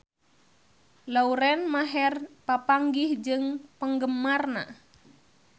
Lauren Maher papanggih jeung penggemarna